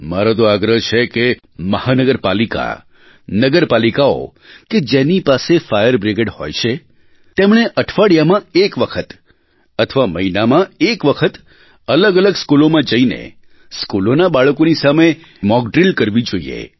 મારો તો આગ્રહ છે કે મહાનગર પાલિકા નગર પાલિકાઓ કે જેની પાસે ફાયર બ્રિગેડ હોય છે તેમને અઠવાડિયામાં એક વખત અથવા મહિનામાં એક વખત અલગઅલગ સ્કૂલોમાં જઇને સ્કૂલોના બાળકોની સામે મોક ડ્રિલ કરવી જોઇએ